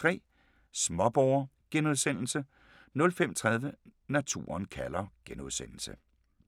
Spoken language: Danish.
05:03: Småborger * 05:30: Naturen kalder *